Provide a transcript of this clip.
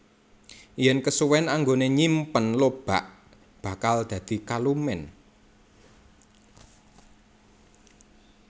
Yen kesuwèn anggone nyimpen lobak bakal dadi kalumen